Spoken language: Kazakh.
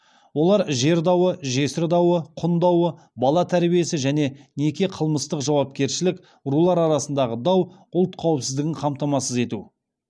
олар жер дауы жесір дауы құн дауы бала тәрбиесі және неке қылмыстық жауапкершілік рулар арасындағы дау ұлт қауіпсіздігін қамтамасыз ету